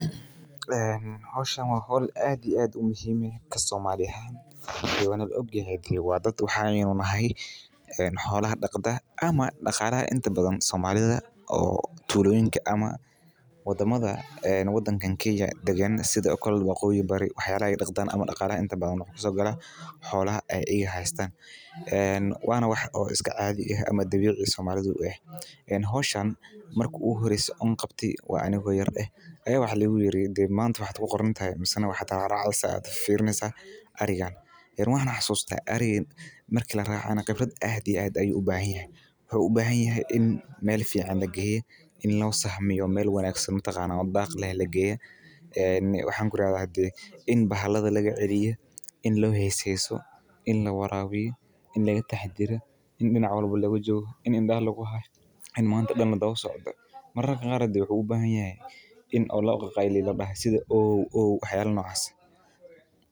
Ee hoshan waa hol aad iyo aad muhiim u ah sitha waqoyi bari wana wax iska dabici ah marki an yara aya lodahe ariga rac Mark arigana wan xasusta qibraad aad iyo aad u wanagsan aya lagu qabtaa wuxuu uban yahay in meel fican lageyo in lo sahmiyo meel daq leh lageyo in bahalaha laga celiyo in lo hse heso in biya lawarawiyo in laga taxadaro in indaha lagu hayo mararka qar wuxuu u bahan yahay in ladaho ow ow iyo wax yala nocas eh.